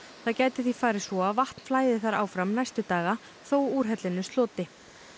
það gæti því farið svo að vatn flæði þar áfram næstu daga þó úrhellinu sloti